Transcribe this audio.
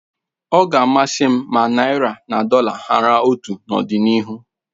Ọ ga amasị m ma naị́ra na dọla hara otu n'ọdịnihu